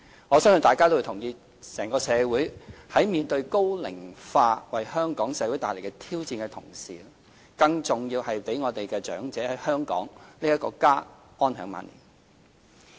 我相信大家亦認同，整個社會在面對高齡化為香港帶來的挑戰的同時，更重要的是讓長者在香港這個家安享晚年。